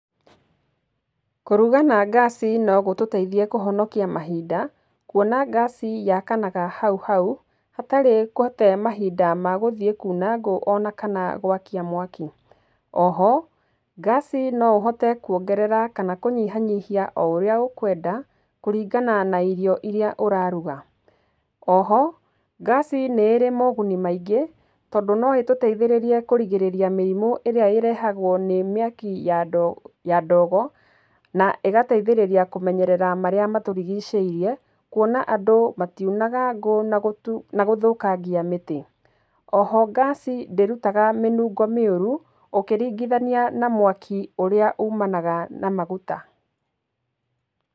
Kũruga na ngaci no gũtũteithie kũhonokia mahinda, kũona ngaci yakanaga hau hau hatarĩ gũte mahinda ma gũthiĩ kuuna ngũ ona kana gwakia mwaki. Oho ngaci no ũhote kwongerera kana kũnyihanyihia oũrĩa ũkwenda, kũringana na irio irĩa ũraruga. Oho ngaci nĩ ĩrĩ moguni maingĩ, tondũ no ĩtũteithĩrĩrie kũrigĩrĩrĩa mĩrimu ĩrĩa ĩrehagwo nĩ mĩaki ya ndogo, na ĩgateithĩrĩria kũmenyerera marĩa matũrigicĩirie kuona andũ matiunaga ngũ na gũthũkangia mĩti. Oho ngaci ndĩrutaga mĩnungo mĩũru ũkĩringithania na mwaki ũrĩa umanaga na maguta.